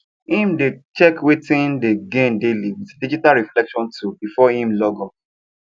him dey check wetin him dey gain daily with digital reflection tool before him log off